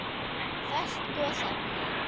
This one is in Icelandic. Föst gosefni